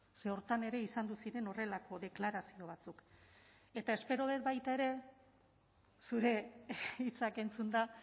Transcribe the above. ze horretan ere izan ziren horrelako deklarazio batzuk eta espero dut baita ere zure hitzak entzunda